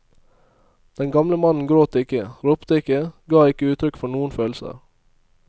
Den gamle mannen gråt ikke, ropte ikke, ga ikke uttrykk for noen følelser.